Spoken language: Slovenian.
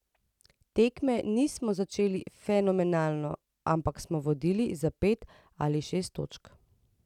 Tekme nismo začeli fenomenalno, ampak smo vodili za pet ali šest točk.